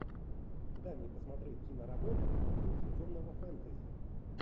дай мне посмотреть киноработу в духе темного фэнтези